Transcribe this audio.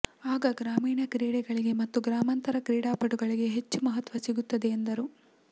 ಆಗ ಗ್ರಾಮೀಣ ಕ್ರೀಡೆಗಳಿಗೆ ಮತ್ತು ಗ್ರಾಮಾಂತರ ಕ್ರೀಡಾಪಟುಗಳಿಗೆ ಹೆಚ್ಚು ಮಹತ್ವ ಸಿಗುತ್ತದೆ ಎಂದರು